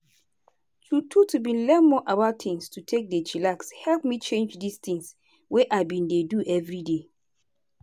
true true to bin learn more about tins to take dey chillax help me change di tins wey i bin dey do everyday.